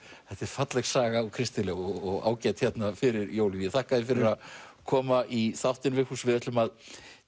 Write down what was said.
þetta er falleg saga og kristileg og ágæt hérna fyrir jólin ég þakka þér fyrir að koma í þáttinn Vigfús við ætlum að